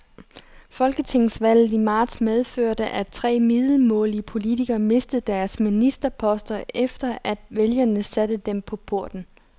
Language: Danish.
Folketingsvalget i marts medførte, at tre middelmådige politikere mistede deres ministerposter, efter at vælgerne satte dem på porten.